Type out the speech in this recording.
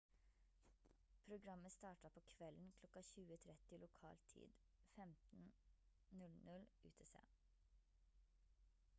programmet starta på kvelden klokka 20:30 lokal tid 15:00 utc